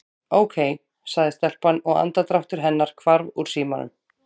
Ókei- sagði telpan og andardráttur hennar hvarf úr símanum.